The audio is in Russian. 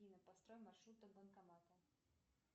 афина построй маршрут до банкомата